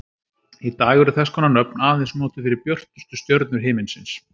Í dag eru þess konar nöfn aðeins notuð fyrir björtustu stjörnur himinsins.